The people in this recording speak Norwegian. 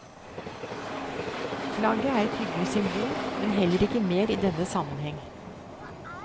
Flagget er et hyggelig symbol, men heller ikke mer i denne sammenheng.